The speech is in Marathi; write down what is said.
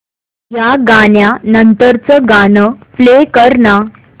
या गाण्या नंतरचं गाणं प्ले कर ना